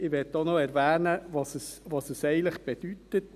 Ich möchte auch noch erwähnen, was es eigentlich bedeutet: